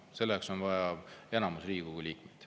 Selleks on vaja enamikku Riigikogu liikmeid.